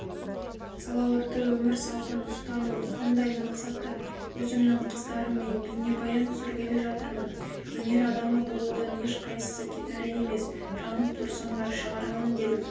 салауатты өмір салтын ұстану сондай мақсатта өзімнің қыздарыммен бейнебаян түсіргелі жатырмын өнер адамы болудан ешқайсысы кетәрі емес жанып тұрсаңдар шығарамын дедім